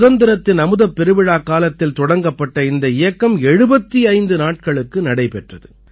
சுதந்திரத்தின் அமுதப்பெருவிழாக்காலத்தில் தொடங்கப்பட்ட இந்த இயக்கம் 75 நாட்களுக்கு நடைபெற்றது